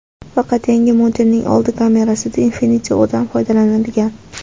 Faqat yangi modelning old kamerasida Infinity-O‘dan foydalanilgan.